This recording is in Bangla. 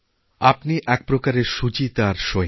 আপনি একপ্রকারের শুচিতা সৈনিক